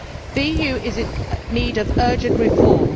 The EU is in need of urgent reform.